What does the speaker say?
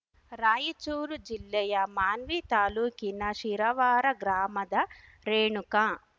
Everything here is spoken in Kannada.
ರಾಯಚೂರು ಜಿಲ್ಲೆಯ ಮಾನ್ವಿ ತಾಲೂಕಿನ ಶಿರವಾರ ಗ್ರಾಮದ ರೇಣುಕಾ